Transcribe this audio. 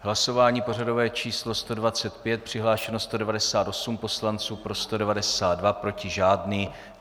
Hlasování pořadové číslo 125, přihlášeno 198 poslanců, pro 192, proti žádný.